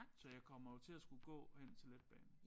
Så jeg kommer jo til at skulle gå hen til letbanen